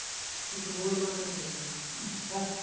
तसे board बनवायचे आहेत आपल्याला